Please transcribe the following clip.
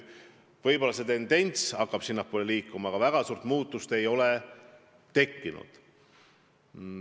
Võib-olla tendents hakkab sinnapoole liikuma, aga väga suurt muutust ei ole tekkinud.